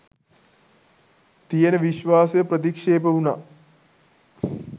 තියෙන විශ්වාසය ප්‍රතික්ෂේප වුණා.